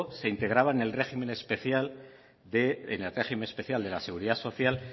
se integraba en el régimen especial de la seguridad social